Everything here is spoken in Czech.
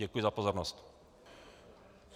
Děkuji za pozornost.